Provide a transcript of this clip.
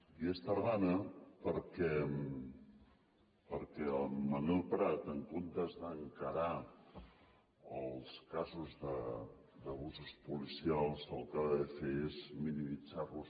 i és tardana perquè en manel prat en comptes d’encarar els casos d’abusos policials el que va fer és minimitzar los